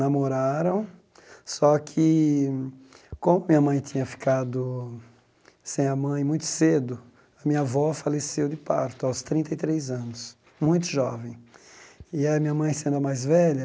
Namoraram, só que, como minha mãe tinha ficado sem a mãe muito cedo, a minha avó faleceu de parto aos trinta e três anos, muito jovem, e a minha mãe sendo a mais velha,